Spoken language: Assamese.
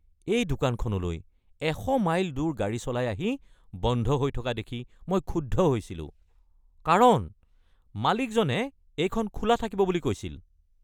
এই দোকানখনলৈ ১০০ মাইল দূৰ গাড়ী চলাই আহি বন্ধ হৈ থকা দেখি মই ক্ষুব্ধ হৈছিলো কাৰণ মালিকজনে এইখন খোলা থাকিব বুলি কৈছিল।